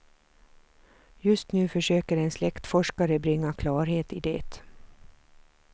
Just nu försöker en släktforskare bringa klarhet i det.